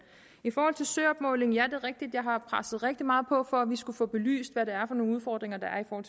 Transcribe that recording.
i forhold til søopmåling er det rigtigt at jeg har presset rigtig meget på for at vi skulle få belyst hvad det er for nogle udfordringer der er og